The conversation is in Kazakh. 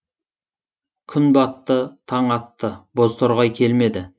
күн батты таң атты бозторғай келмеді